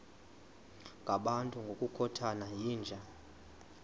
ngabantu ngokukhothana yinja